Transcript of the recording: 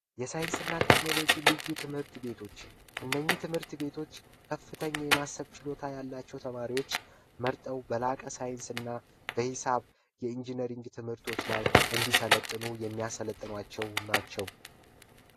የሳይንስና ቴክኖሎጂ ልዩ ትምህርት ቤቶች እነኚ ትምህርት ቤቶች ከፍተኛ የማሰብ ችሎታ ያላቸው ተማሪዎች መርጠው በላቀ ሳይንስና በሒሳብ የኢንጂነሪንግ ትምህርቶች እንዲሰለጥኑ የሚያሰለጥኗቸው ናቸው